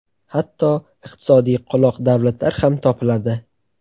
Hatto iqtisodiy qoloq davlatlar ham topiladi.